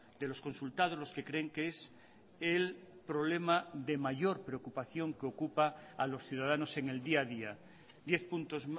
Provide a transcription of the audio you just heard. de los consultados los que creen que es el problema de mayor preocupación que ocupa a los ciudadanos en el día a día diez puntos